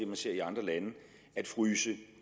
man ser i andre lande at fryse